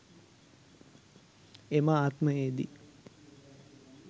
එම ආත්මයේ දී